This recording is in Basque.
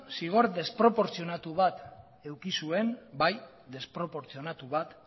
zigor desproportzionatu bat eduki zuen bai desproportzionatu bat